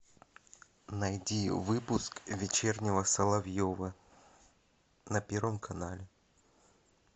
найди выпуск вечернего соловьева на первом канале